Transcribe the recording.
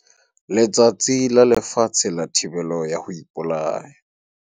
Letsatsi la Lefatshe la Thibelo ya ho Ipolaya